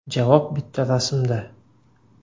Javob bitta rasmda.